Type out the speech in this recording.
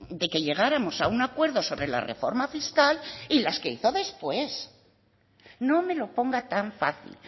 de que llegáramos a un acuerdo sobre la reforma fiscal y las que hizo después no me lo ponga tan fácil